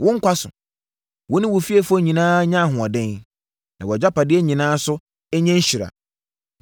“Wo nkwa so! Wo ne wo fiefoɔ nyinaa nnya ahoɔden! Na wʼagyapadeɛ nyinaa nso nyɛ nhyira.